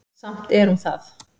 Samt er hún það.